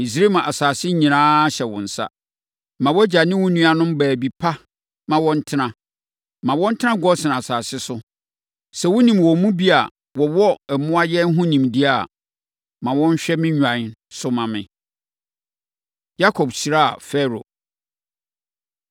Misraim asase nyinaa hyɛ wo nsa. Ma wʼagya ne wo nuammarima baabi pa na wɔntena. Ma wɔntena Gosen asase so. Sɛ wonim wɔn mu bi a wɔwɔ mmoayɛn ho nimdeɛ a, ma wɔnhwɛ me nnwan so mma me.” Yakob Hyira Farao